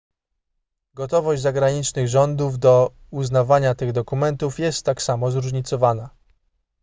gotowość zagranicznych rządów do uznawania tych dokumentów jest tak samo zróżnicowana